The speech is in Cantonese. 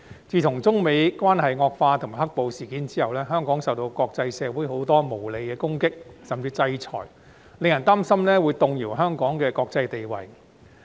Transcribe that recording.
自從中美關係惡化及"黑暴"事件後，香港受到國際社會很多無理的攻擊甚至制裁，令人擔心會動搖香港的國際地位。